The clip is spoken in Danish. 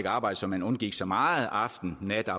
arbejdet så man undgik så meget aften nat og